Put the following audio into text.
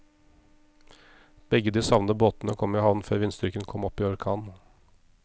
Begge de savnede båtene kom i havn før vindstyrken kom opp i orkan.